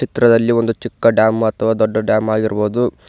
ಚಿತ್ರದಲ್ಲಿ ಒಂದು ಚಿಕ್ಕ ಡ್ಯಾಮ್ ಅಥವಾ ದೊಡ್ಡ ಡ್ಯಾಮ್ ಆಗಿರಬಹುದು.